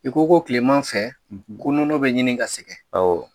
I ko ko tilema fɛ nɔnɔ bɛ ɲini ka sɛgɛn ɔwɔ